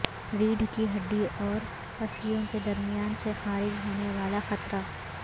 ریڑھ کی ہڈی اور پسلیو ں کے درمیان سے خارج ہونے والا قطرہ